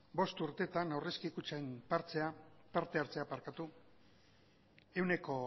bost urtetan aurrezki kutxen parte hartzea ehuneko